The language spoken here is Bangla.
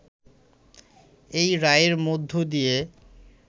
এই রায়ের মধ্য দিয়ে